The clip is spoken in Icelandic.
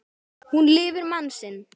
Hún lifir mann sinn.